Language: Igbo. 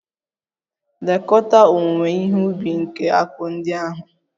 Lekọta owuwe ihe ubi nke akpụ ndị ahụ!